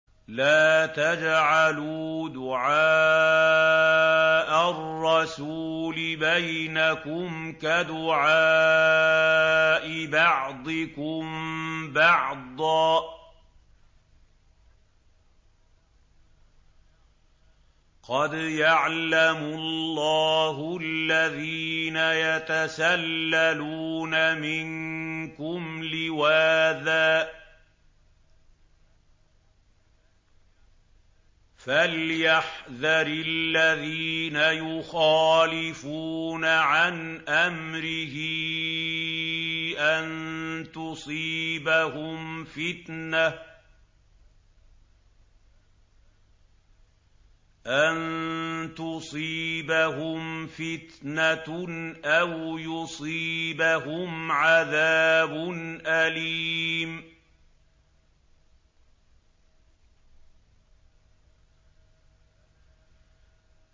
لَّا تَجْعَلُوا دُعَاءَ الرَّسُولِ بَيْنَكُمْ كَدُعَاءِ بَعْضِكُم بَعْضًا ۚ قَدْ يَعْلَمُ اللَّهُ الَّذِينَ يَتَسَلَّلُونَ مِنكُمْ لِوَاذًا ۚ فَلْيَحْذَرِ الَّذِينَ يُخَالِفُونَ عَنْ أَمْرِهِ أَن تُصِيبَهُمْ فِتْنَةٌ أَوْ يُصِيبَهُمْ عَذَابٌ أَلِيمٌ